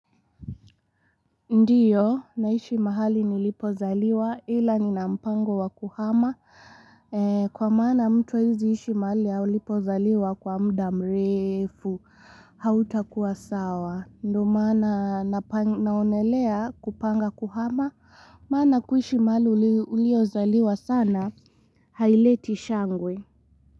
Ndiyo naishi mahali nilipo zaliwa ila nina mpango wa kuhama Kwa mana mtu waziishi mahali ya ulipo zaliwa kwa mda mrefu hauta kuwa sawa ndo maana naonelea kupanga kuhama maana kuishi mahali ulio zaliwa sana haileti shangwe.